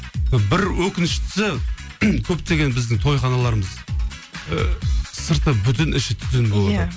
бір өкініштісі көптеген біздің тойханаларымыз ыыы сырты бүтін іші түтін болады иә